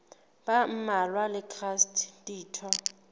ba mmalwa le traste ditho